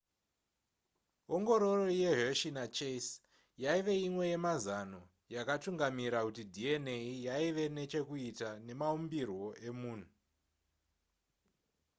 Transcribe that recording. ongororo yehershey nachase yaive imwe yemazano yakatungamira kuti dna yaive nechekuita nemaumbirwo emunhu